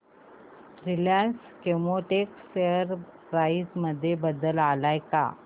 Reliance Chemotex share price मध्ये बदल आलाय का